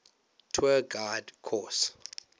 tour guide course